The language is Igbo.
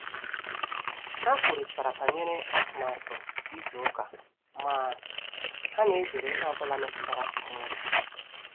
Ha kwurịtara banyere atụmatụ izu ụka ma ha na-ezere ihe ọ bụla metụtara onwe ha